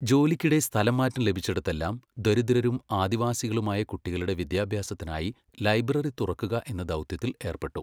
ജോലിക്കിടെ സ്ഥലംമാറ്റം ലഭിച്ചിടത്തെല്ലാം ദരിദ്രരും ആദിവാസികളുമായ കുട്ടികളുടെ വിദ്യാഭ്യാസത്തിനായി ലൈബ്രറി തുറക്കുക എന്ന ദൗത്യത്തിൽ ഏർപ്പെട്ടു.